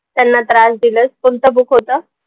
त्यांना त्रास दिलंस, कोणतं book होतं?